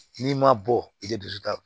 N'i ma bɔ i tɛ dusu ta